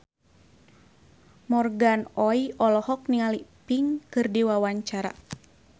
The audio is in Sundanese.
Morgan Oey olohok ningali Pink keur diwawancara